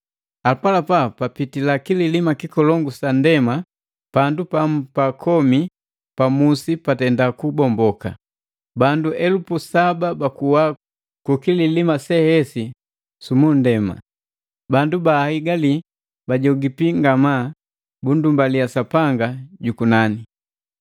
Apalapa sapitila kililima kikolongu sa nndema, pandu pamu pa komi pa musi patenda kubomboka. Bandu elupu saba bakuwa ku kililima se hesi su nndema. Bandu baahigali bajogipi ngamaa, bundumbalia Sapanga jukunani.